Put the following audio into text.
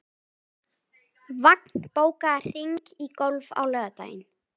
Þorkatla, er bolti á miðvikudaginn?